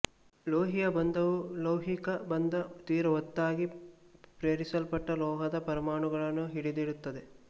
ಲೋಹಿಯ ಬಂಧವು ಲೌಹಿಕ ಬಂಧ ತೀರ ಒತ್ತಾಗಿ ಪೇರಿಸಲ್ಪಟ್ಟ ಲೋಹದ ಪರಮಾಣುಗಳನ್ನು ಹಿಡಿದಿಡುತ್ತದೆ